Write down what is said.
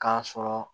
K'a sɔrɔ